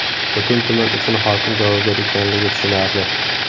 Butun tuman uchun hokim javobgar ekanligi tushunarli.